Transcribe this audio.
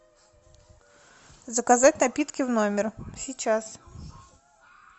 заказать напитки в номер сейчас